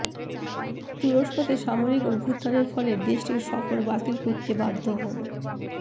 তুরস্কতে সামরিক অভূথানের ফলে দেশটির সফর বাতিল করতে বাধ্য হন